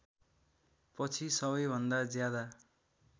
पछि सबैभन्दा ज्यादा